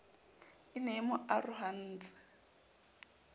e ne e mo arohantse